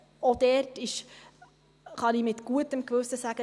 Auch dort kann ich mit gutem Gewissen sagen: